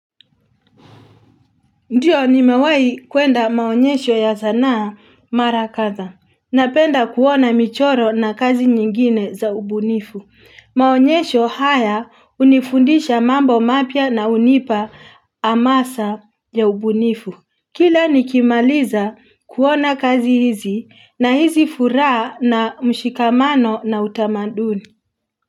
Ndio nimewahi kuenda maonyesho ya sanaa mara kadha. Napenda kuona michoro na kazi nyingine za ubunifu. Maonyesho haya hunifundisha mambo mapya na hunipa amasa ya ubunifu. Kila nikimaliza kuona kazi hizi nahisi furaha na mshikamano na utamaduni.